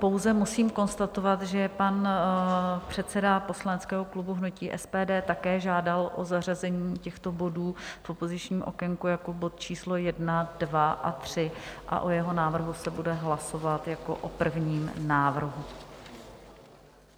Pouze musím konstatovat, že pan předseda poslaneckého klubu hnutí SPD také žádal o zařazení těchto bodů v opozičním okénku jako bodů číslo 1, 2 a 3 a o jeho návrhu se bude hlasovat jako o prvním návrhu.